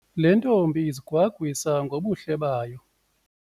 Le ntombi izigwagwisa ngobuhle bayo.